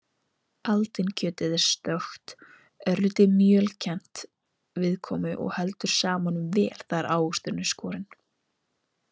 Aldinkjötið er stökkt, örlítið mjölkennt viðkomu og heldur safanum vel þegar ávöxturinn er skorinn.